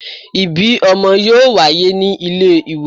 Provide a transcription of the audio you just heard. Ibi ọmọ yoo waye ni ile iwosan